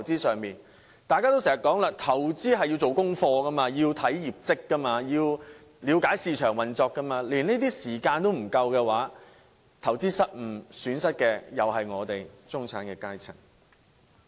正如大家經常說的，投資需要做功課，要察看相關公司的業績及了解市場運作，但他們卻沒有時間做這些功課，當投資失誤時，卻要自行承擔損失。